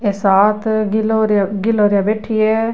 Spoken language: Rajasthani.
ये साथ गिलहरियां गिलहरियाँ बैठी है।